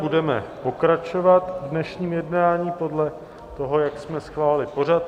Budeme pokračovat v dnešním jednání podle toho, jak jsme schválili pořad.